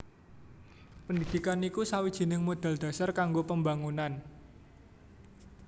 Pendidikan iku sawijining modal dhasar kanggo pembangunan